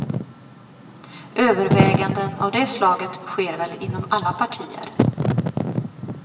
Överväganden av det slaget sker väl inom alla partier.